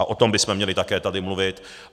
A o tom bychom měli tady také mluvit.